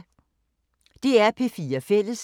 DR P4 Fælles